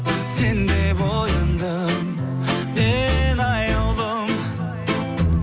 сен деп ояндым мен аяулым